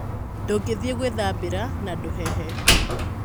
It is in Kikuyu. Ndũngĩthiĩ gũĩthambira na ndũhehe.